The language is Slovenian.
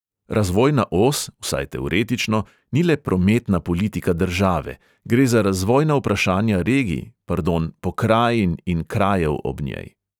Razvojna os, vsaj teoretično, ni le prometna politika države – gre za razvojna vprašanja regij, pardon, pokrajin in krajev ob njej.